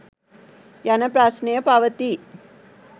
යන ප්‍රශ්නය පවතී